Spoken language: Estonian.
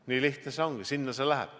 Nii lihtne see ongi, sinna see läheb.